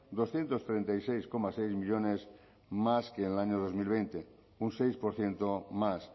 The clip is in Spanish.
doscientos treinta y seis coma seis millónes más que en el año dos mil veinte un seis por ciento más